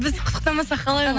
біз құттықтамасақ қалай ол